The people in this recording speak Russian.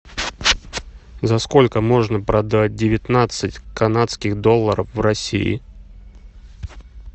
за сколько можно продать девятнадцать канадских долларов в россии